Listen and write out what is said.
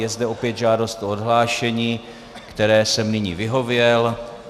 Je zde opět žádost o odhlášení, které jsem nyní vyhověl.